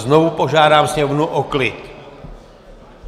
Znovu požádám sněmovnu o klid!